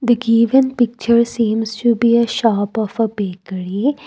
the given picture seems to be a shop of a bakery.